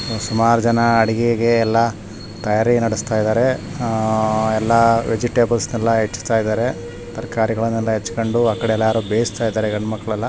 ಸುಮಾರು ಜನ ಎಲ್ಲಾ ಅಡುಗೆಗೆ ತಯಾರಿ ನಡೆಸುತ್ತಿದ್ದಾರೆ ವೆಜಿಟೇಬಲ್ಸ್ ಗಳನ್ನೆಲ್ಲ ಹೆಚ್ಚುತ್ತಿದ್ದಾರೆ ತರಕಾರಿಗಳನ್ನು ಹಚ್ಚಿಕೊಂಡು ಆ ಕಡೆ ಬೇಯಿಸುತ್ತಿದ್ದಾರೆ. ಗಂಡು ಮಕ್ಕಳು ಎಲ್ಲ .